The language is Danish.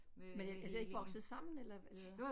Men er det er det ikke vokset sammen eller eller hvad